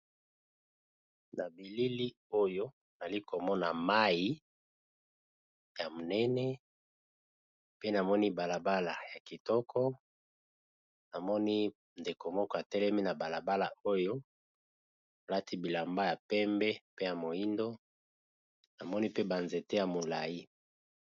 Ma bilili oyo nali komona mai ya monene pe namoni balabala ya kitoko namoni ndekomoka telemi na balabala oyo alati bilamba ya pembe pe ya moindo namoni pe banzete ya molai.